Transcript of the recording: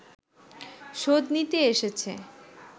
শোধ নিতে এসেছে